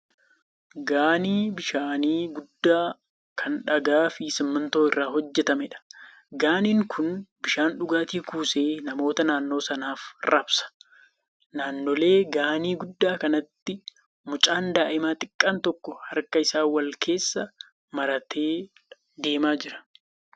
Gaanii bishaanii guddaa kan dhagaa fi simmintoo irraa hojjetameedha. Gaaniin kun bishaan dhugaatii kuusee namoota naannoo sanaaf raabsa. Naannoo gaanii guddaa kanaatti mucaan daa'ima xiqqaan tokko harka isaa wal keessa maratee deemaa jira.